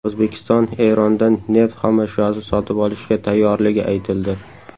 O‘zbekiston Erondan neft xomashyosi sotib olishga tayyorligi aytildi.